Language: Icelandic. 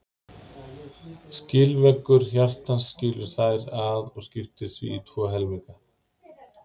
Skilveggur hjartans skilur þær að og skiptir því í tvo helminga.